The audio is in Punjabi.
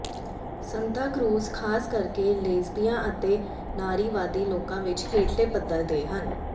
ਸੰਤਾ ਕ੍ਰੂਜ਼ ਖਾਸ ਕਰਕੇ ਲੇਸਬੀਆਂ ਅਤੇ ਨਾਰੀਵਾਦੀ ਲੋਕਾਂ ਵਿਚ ਹੇਠਲੇ ਪੱਧਰ ਦੇ ਹਨ